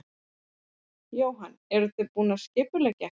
Jóhann: Eruð þið búin að skipuleggja eitthvað?